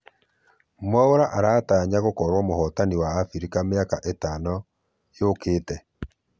mwaura aratanya gũkorwo mũhotani wa africa miaka itano ĩũkĩte